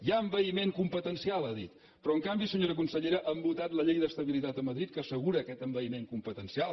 hi ha envaïment competencial ha dit però en canvi senyora consellera han votat la llei d’estabilitat a madrid que assegura aquest envaïment competencial